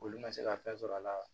Olu ma se ka fɛn sɔrɔ a la